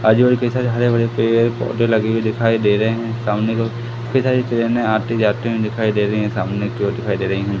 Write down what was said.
आजू-बाजू कई सारे हरे-भरे पेड़-पौधे लगे हुए दिखाई दे रहे हैं सामने को कई सारी ट्रेनें आती जाती हुई दिखाई दे रही हैं सामने की ओर दिखाई दे रही हैं।